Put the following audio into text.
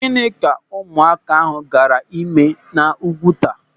Gịnị ka ụmụaka ahụ gaara ịme n'Úgwùtà?